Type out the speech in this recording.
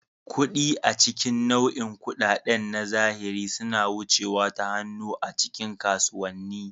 Kuɗi, a cikin nau'in kuɗaɗen na zahiri, suna wucewa ta hannu a cikin kasuwanni.